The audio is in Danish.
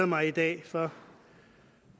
mig i dag for